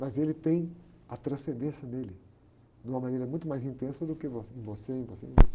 Mas ele tem a transcendência nele, de uma maneira muito mais intensa do que em, em você, em você, em você.